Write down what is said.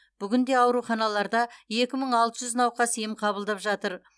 бүгінде ауруханаларда екі мың алты жүз науқас ем қабылдап жатыр